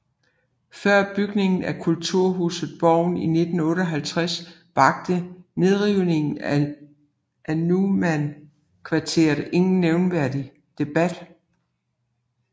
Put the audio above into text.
Før bygningen af kulturhuset Borgen i 1958 vakte nedrivningen af Nunnan kvarteret ingen nævneværdig debat